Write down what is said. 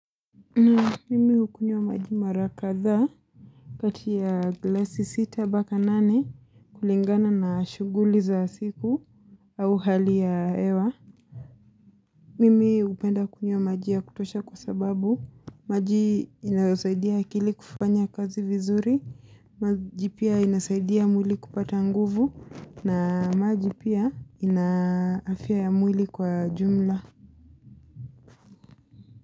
Mimi hukunywa maji mara kadhaa kati ya glasi sita mpaka nane kulingana na shughuli za siku au hali ya hewa. Mimi hupenda kunywa maji ya kutosha kwa sababu. Maji inasaidia akili kufanya kazi vizuri, maji pia inasaidia mwili kupata nguvu na maji pia ina afya ya mwili kwa jumla.